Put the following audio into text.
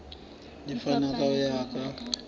di fapana ho ya ka